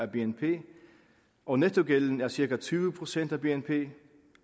bnp og nettogælden er cirka tyve procent af bnp